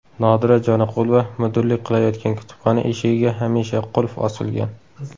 Nodira Joniqulova mudirlik qilayotgan kutubxona eshigiga hamisha qulf osilgan.